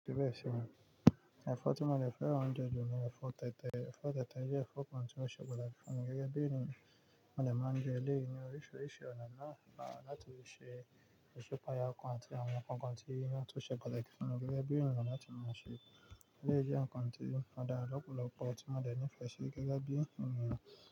Ẹ̀fọ́ tí mo de fẹ́ran je ju ní ẹ̀fọ́ tẹ̀tẹ̀. Ẹ̀fọ́ tẹ̀tẹ̀ jẹ́ ẹ̀fọ́ kan tí ó ṣe pataki fún mi gẹ́gẹ́ bí ènìyàn. Mo demáa ń jẹ léyì ni oríṣiríṣi ọ̀nà na láti se isipaya kan àti àwọn ǹkan kan tí yóò tún ṣe kọ̀là fún mi gẹ́gẹ́ bí ènìyàn láti máa ṣe. Eleyi jẹ́ ǹkan tí odara lọ́pọ̀lọpọ̀ tí mo de nife sí gẹ́gẹ́ bí ènìyàn.